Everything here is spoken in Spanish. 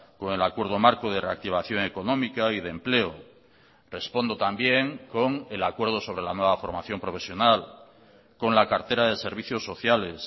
con el acuerdo marco de reactivación económica y de empleo respondo también con el acuerdo sobre la nueva formación profesional con la cartera de servicios sociales